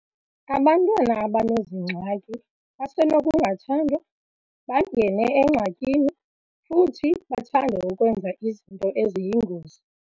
Abantwana abanezi ngxaki basenokungathandwa, bangene engxakini futhi bathande ukwenza izinto eziyingozi.